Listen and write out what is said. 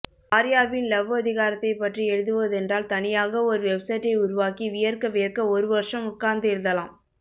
ஆர்யாவின் லவ்வதிகாரத்தை பற்றி எழுதுவதென்றால் தனியாக ஒரு வெப்சைட்டை உருவாக்கி வியர்க்க வியர்க்க ஒரு வருஷம் உட்கார்ந்து எழுதலாம்